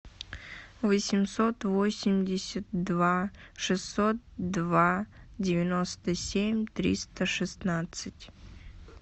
восемьсот восемьдесят два шестьсот два девяносто семь триста шестнадцать